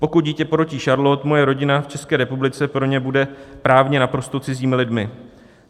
Pokud dítě porodí Charlotte, moje rodina v České republice pro ně bude právně naprosto cizími lidmi.